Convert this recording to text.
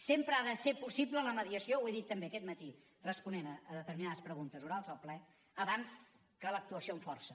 sempre ha de ser possible la mediació ho he dit també aquest matí responent a determinades preguntes orals al ple abans que l’actuació amb força